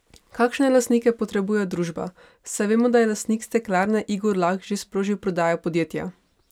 Kakšne lastnike potrebuje družba, saj vemo, da je lastnik steklarne Igor Lah že sprožil prodajo podjetja?